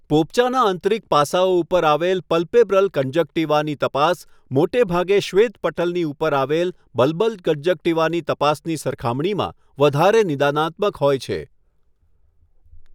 પોપચાનાં આંતરિક પાસાંઓ ઉપર આવેલ પૈલ્પેબ્રલ કંજક્ટિવાની તપાસ, મોટેભાગે શ્વેતપટલની ઉપર આવેલ બલ્બલ કંજક્ટિવાની તપાસની સરખામણીમાં વધારે નિદાનાત્મક હોય છે.